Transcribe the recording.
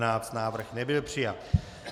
Návrh nebyl přijat.